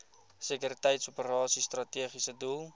sekuriteitsoperasies strategiese doel